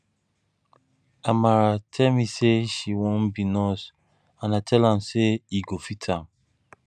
amara tell me say she wan be nurse and i tell am say e go fit am